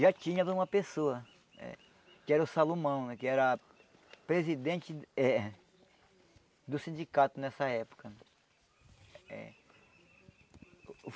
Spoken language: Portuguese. já tinha de uma pessoa, eh que era o Salomão né, que era presidente eh do sindicato nessa época eh.